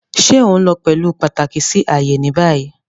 Ṣe o nlo pẹlu pataki si aaye ni bayi?